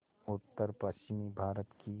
उत्तरपश्चिमी भारत की